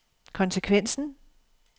konsekvensen